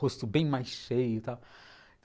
Rosto bem mais cheio e tal.